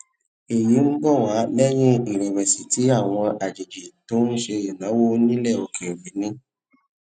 èyí ń bọ wá lẹyìn ìrẹwẹsì tí àwọn àjèjì tó ń ṣe ìnáwó nílè òkèèrè ní